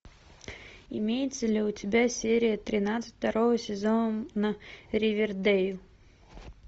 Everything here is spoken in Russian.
имеется ли у тебя серия тринадцать второго сезона ривердейл